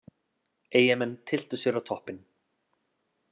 Eyjamenn tylltu sér á toppinn